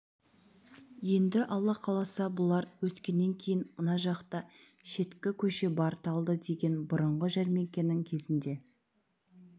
енді алла қаласа бұлар өскеннен кейін мына жақта шеткі көше бар талды деген бұрыңғы жәрмеңкенің кезінде